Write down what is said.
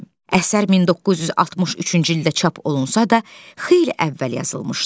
Əsər 1963-cü ildə çap olunsa da, xeyli əvvəl yazılmışdı.